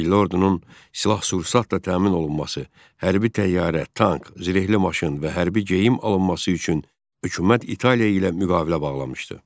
Milli ordunun silah-sursatla təmin olunması, hərbi təyyarə, tank, zirehli maşın və hərbi geyim alınması üçün hökumət İtaliya ilə müqavilə bağlamışdı.